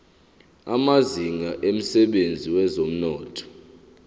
amazinga emsebenzini wezomnotho